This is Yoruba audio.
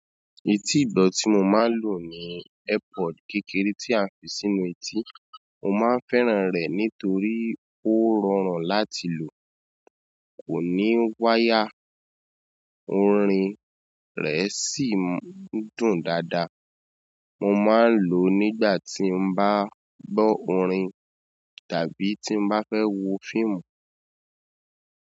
Eti igbọ ti mo maa n lo ni earpod kékeré ti a n fi si inú eti. Mo máa ń fẹ́ràn rẹ̀ nítorí ó rọrùn láti lò, kò ní wáyà, orin rẹ̀ sì ń dùn dáadáa. Mo máa ń lò ó nígbà tí n bá gbọ orin tàbí tí n bá fẹ́ wo fíìmù.